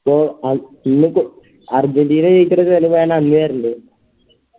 ഇന്നിപ്പോ അർജന്റീന ജയിച്ചേൻറെ ചെലവ് ഞാനന്ന് തെരണ്ട്